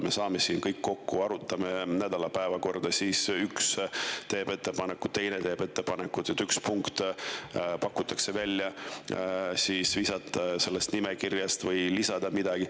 Me saame siin kõik kokku, arutame nädala päevakorda, üks teeb ettepaneku, teine teeb ettepaneku, et mõni punkt visata sellest nimekirjast välja või lisada midagi.